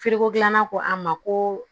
gilanna ko an ma ko